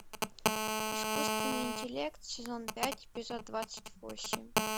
искусственный интеллект сезон пять эпизод двадцать восемь